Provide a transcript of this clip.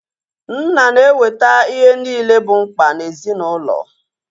Nna na-eweta ihe niile bụ mkpa ezinaụlọ